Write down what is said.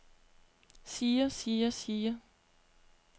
siger siger siger